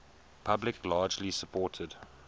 public largely supported